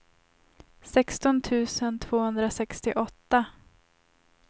sexton tusen tvåhundrasextioåtta